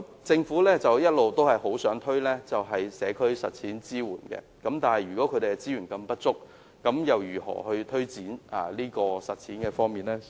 政府一直希望推動社區實踐計劃，但如果他們的資源如此不足，試問又如何推展呢？